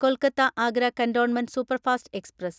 Kolkata Agra cantonment superfast express